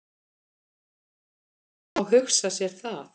Það má hugsa sér það.